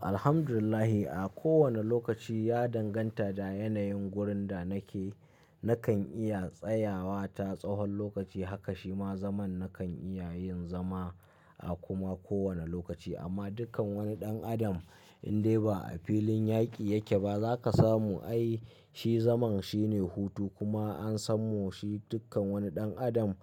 Alhamdulillah, a kowanne lokaci ya danganta da yanayin wurin da nake. Nakan iya tsayawa ta tsawon lokaci haka shima zaman nakan iya yin zama a kuma kowane lokaci. Amma dukkan wani ɗan adam in dai ba a filin yaƙi yake ba, za ka samu ai shi zaman shi ne hutu kuma an sammu shi dukkan wani ɗan adam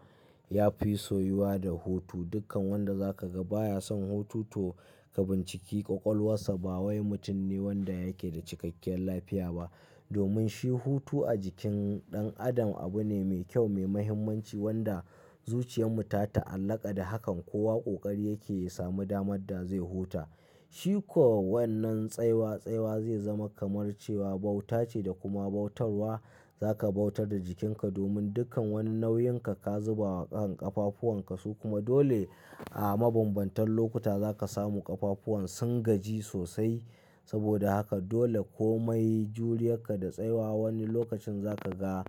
ya fi soyuwa da hutu. Dukkan wanda za ka ga baya son hutu to ka binciki ƙwaƙwalarsa, ba wai mutum ne wanda yake da cikakkiyar lafiya ba. Domin shi hutu a jikin ɗan adam abu ne mai kyau, mai mahimmanci wanda zuciyar mu ta ta alaƙa da hakan. Kowa ƙoƙari yake yi samu damar da zai huta. Shi ko wannan tsaywa, tsaywa zai zama kamar cewa bauta ce da kuma bautarwa. Za ka bautar da jikinka domin dukkan wani nauyinka ka zuba a kan ƙafafuwan ka su kuma dole a mabambantan lokuta za ka samu ƙafafuwan sun gaji sosai. Saboda haka dole kome juriyarka da tsayawa wani lokacin za ka ga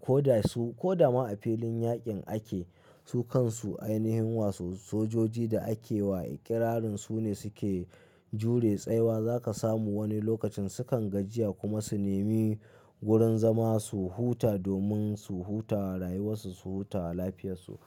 ko da su, ko da ma a filin yaƙin ake, su kansu ainihin wasu sojoji da ake wa ƙirarin su ne suke jure tsayawa za ka samu wani lokacin sukan gajiya kuma su nemi wurin zama su huta domin su huta rayuwarsu, su huta lafiyarsu.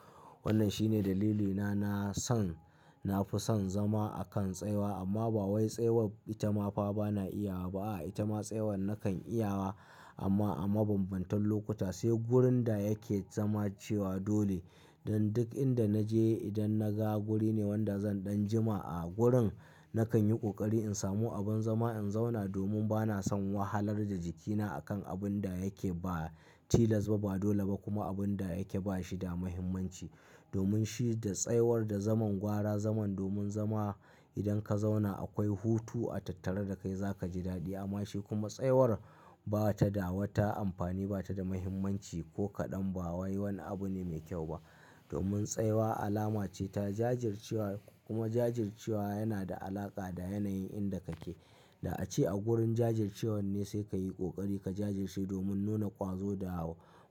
Wannan shine dalilina na son, na fi son zama a kan tsayawa amma ba wai tsayawar itama fa bana iyawa ba. A itama tsayawar nakan iyawa amma a mabambantan lokuta sai wurin da yake zama cewa dole. Dan duk inda na je idan na ga wuri ne wanda zan ɗan jima a gurin, nakan yi ƙoƙari in samu abin zama in zauna domin bana son wahalar da jikina a kan abun da yake ba tilas ba, ba dole ba kuma abun da yake ba shi da mahimmanci. Domin shi da tsayawar da zaman gwara zaman domin zama idan ka zauna akwai hutu a tattare da kai za ka ji daɗi amma shi kuma tsayawar ba ta da wata amfani, ba ta da mahimmanci ko kaɗan. Ba wai wani abu ne mai kyau ba. Domin tsayawa alama ce ta jajircewa kuma jajircewa yana da alaƙa da yanayin inda kake. Da ace a gurin jajircewa ne sai ka yi ƙoƙari ka jajirce domin nuna ƙwazo da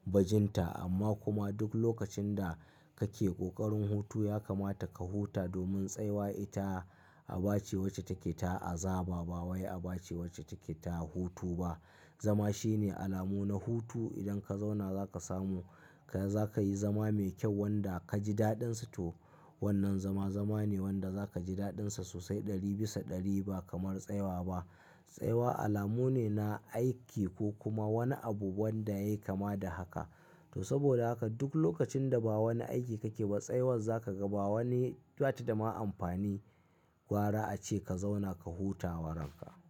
bajinta. Amma kuma duk lokacin da kake ƙoƙarin hutu, ya kamata ka huta domin tsayawa ita Abace wacce take ta azaba ba wai Abace wacce take ta hutu ba. Zama shine alamu na hutu. Idan ka zauna za ka samu, ka za ka yi zama mai kyau wanda ka ji daɗin sa to wannan zama, zama ne wanda za ka ji daɗin sa sosai ɗari bisa ɗari ba kamar tsayawa ba. Tsayawa alamu ne na aiki ko kuma wani abu wanda ya yi kama da haka. To saboda haka duk lokacin da ba wani aiki kake ba, tsayawar za ka ga ba wani, ba ta da ma amfani. Gwara ace ka zauna ka huta waranka.